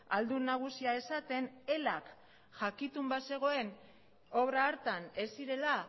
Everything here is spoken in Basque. aldun nagusia esaten elak jakitun bazegoen obra hartan ez zirela